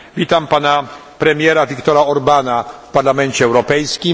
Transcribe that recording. Witam pana premiera Viktora Orbána w Parlamencie Europejskim.